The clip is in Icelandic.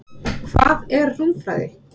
Hvað er rúmfræði?